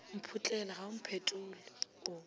mphotlela ga o mphetole o